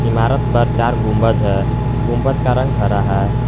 इमारत पर चार गुंबद है गुंबद का रंग हरा है।